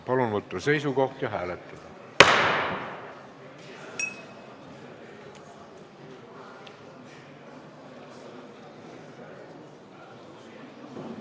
Palun võtta seisukoht ja hääletada!